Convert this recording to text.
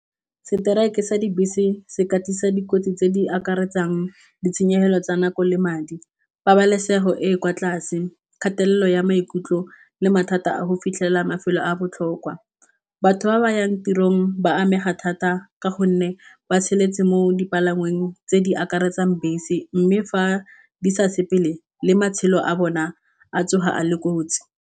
Strike sa dibese se ka tlisa dikotsi tse di akaretsang ditshenyegelo tsa nako le madi, pabalesego e e kwa tlase kgatelelo ya maikutlo le mathata a go fitlhela mafelo a botlhokwa. Batho ba ba yang tirong ba amega thata ka gonne ba mo dipalangweng tse di akaretsang bese, mme fa di sa sepele le matshelo a bona a tsoga a le kotsi.